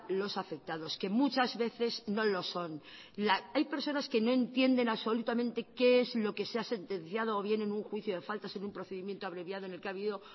los afectados que muchas veces no lo son hay personas que no entienden absolutamente qué es lo que se ha sentenciado o bien en un juicio de faltas en un procedimiento abreviado en el que ha habido